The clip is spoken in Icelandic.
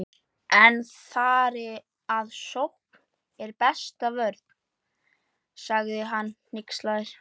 En þar eð sókn er besta vörnin, sagði hann hneykslaður